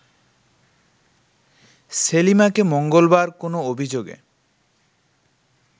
সেলিমাকে মঙ্গলবার কোন অভিযোগে